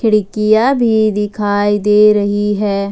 खिड़कियां भी दिखाई दे रही है।